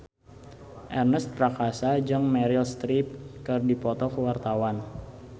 Ernest Prakasa jeung Meryl Streep keur dipoto ku wartawan